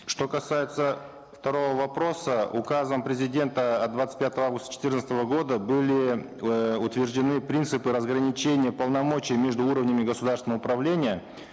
что касается второго вопроса указом президента от двадцать пятого августа четырнадцатого года были эээ утверждены принципы разграничения полномочий между уровнями государственного управления